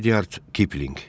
Ret Kipling.